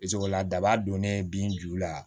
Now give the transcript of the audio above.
la daba donnen bin ju la